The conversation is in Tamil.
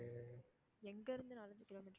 எங்கிருந்து நாலு, அஞ்சு kilometer